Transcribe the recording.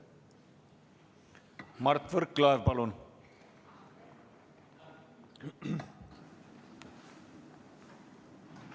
Mart Võrklaev, palun!